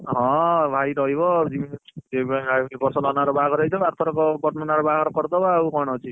ହଁ ଭାଇ ରହିବ ଆଉ ଜୀବି ଏଇ ବର୍ଷ ନନା ର ବାହାଘର ହେଇଥିବ ଆରଥର ବଡନନା ର ବାହାଘର କରିଦବା ଆଉ କଣ ଅଛି